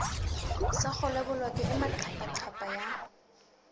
sa kgolabolokwe e maqaphaqapha ya